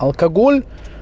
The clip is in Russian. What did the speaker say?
алкоголь